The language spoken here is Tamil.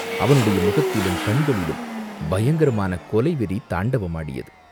அவனுடைய முகத்திலும் கண்களிலும் பயங்கரமான கொலை வெறி தாண்டவமாடியது.